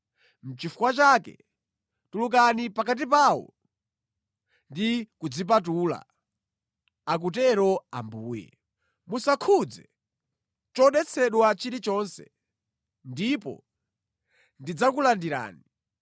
Nʼchifukwa chake “Tulukani pakati pawo ndi kudzipatula, akutero Ambuye. Musakhudze chodetsedwa chilichonse, ndipo ndidzakulandirani.”